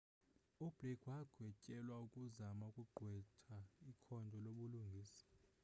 ublake wagwetyelwa ukuzama ukugqwetha ikhondo lobulungisa